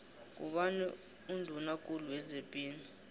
ngubani unduna kulu wezepilo